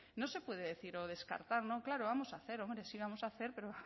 no se puede decir o descartar no claro vamos a hacer hombre sí vamos a hacer pero